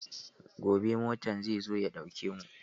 Gobe motan zai zo ya ɗauke mu.